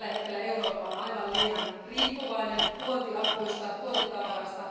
Tällä hetkellä Eurooppa on aivan liian riippuvainen tuontiakuista, tuontitavarasta.